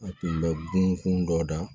A tun bɛ bon kun dɔ da